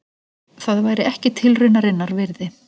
Það væri ekki tilraunarinnar virði.